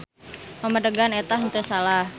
Pamadegan eta henteu salah.